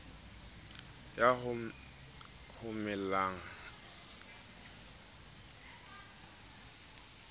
ya homeland ya qwaqwa le